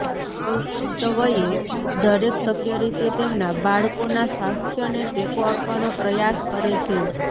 પુખ્ત વયે દરેક શક્ય રીતે તેમના બાળકોના સ્વાસ્થ્યને ટેકો આપવાનો પ્રયાસ કરે છે